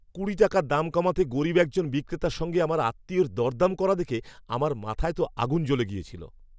কুড়ি টাকা দাম কমাতে গরীব একজন বিক্রেতার সঙ্গে আমার আত্মীয়ের দরদাম করা দেখে আমার মাথায় তো আগুন জ্বলে গিয়েছিল।